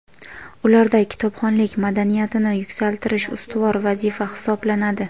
ularda kitobxonlik madaniyatini yuksaltirish ustuvor vazifa hisoblanadi.